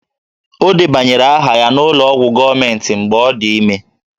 Ọ debanyere aha ya n'ụlọ ọgwụ gọọmentị mgbe ọ dị ime